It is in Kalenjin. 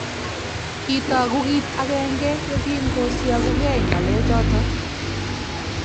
kitooku kiit agenge yekingosiokukei ng'alechoto